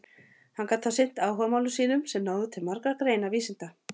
Hann gat þá sinnt áhugamálum sínum sem náðu til margra greina vísinda.